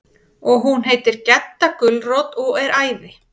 Og hún heitir Gedda gulrót og er æði.